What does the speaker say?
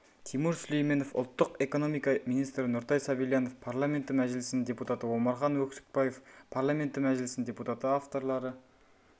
тимур сүлейменов ұлттық экономика министрі нұртай сабильянов парламенті мәжілісінің депутаты омархан өксікбаев парламенті мәжілісінің депутаты авторлары